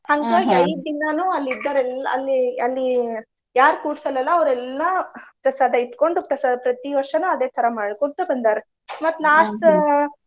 ಐದ್ ದಿನಾನು ಅಲ್ಲಿ ಇದ್ದಾವ್ರೆಲ್ಲಾ ಅಲ್ಲಿ ಅಲ್ಲಿ ಯಾರ್ರ್ ಕೂಡ್ಸಲ್ಲ ಅಲ್ಲಾ ಅವ್ರೆಲ್ಲಾ ಪ್ರಸಾದ ಇಟ್ಕೊಂಡ್ ಪ್ರಸಾದ ಪ್ರತಿ ವರ್ಷಾನು ಅದೇ ತರಾ ಮಾಡ್ಕೊಂತ ಬಂದಾರ. ಮತ್ತ್ .